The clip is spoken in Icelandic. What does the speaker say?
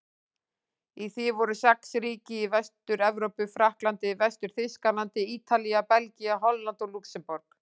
Í því voru sex ríki í Vestur-Evrópu: Frakkland, Vestur-Þýskaland, Ítalía, Belgía, Holland og Lúxemborg.